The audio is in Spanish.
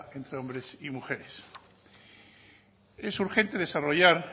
entre hombres y mujeres es urgente desarrollar